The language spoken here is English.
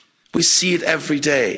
We see it every day.